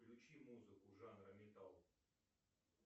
включи музыку жанра металл